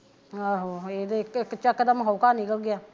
ਆਹੋ ਇਹ ਤੇ ਇਕ ਚਕ ਦਮ ਹੋਕਾ ਨਿਕਲ ਗਿਆ